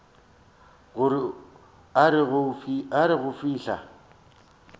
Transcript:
gore a re go fihla